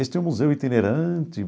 Este é o Museu Itinerante.